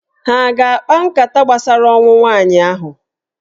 Ha a ga-akpa nkata gbasara ọnwụ nwaanyị ahụ?